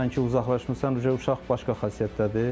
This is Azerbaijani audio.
Baxırsan ki, uzaqlaşmısan, uşaq başqa xasiyyətdədir.